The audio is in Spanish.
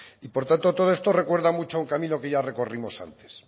y por tanto todo esto recuerda mucho a un camino que ya recorrimos antes